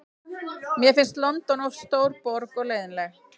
Mér finnst London of stór borg og leiðinleg.